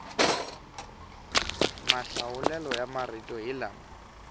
mahlawulelo ya marito hi lama